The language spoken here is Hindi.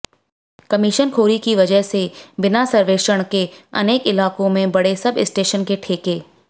कमिशनखोरी की वजह से बिना सर्वेक्षण के अनेक इलाकों में बड़े सब स्टेशन के ठेके